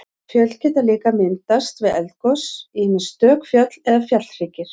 Fjöll geta líka myndast við eldgos, ýmist stök fjöll eða fjallhryggir.